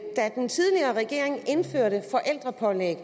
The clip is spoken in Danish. da den tidligere regering indførte forældrepålæg